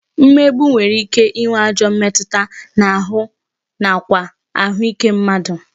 Mmegbu nwere ike ịnwe ajọ mmetụta n'anụ ahụ nakwa ahụike mmadụ